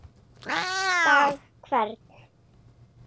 dag hvern